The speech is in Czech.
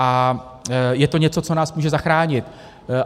A je to něco, co nás může zachránit.